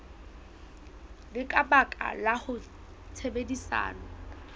le ka baka la tshebedisano